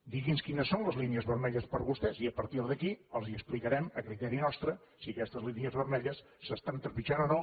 digui’ns quines són les línies vermelles per a vostès i a partir d’aquí els explicarem a criteri nostre si aquestes línies vermelles s’estan trepitjant o no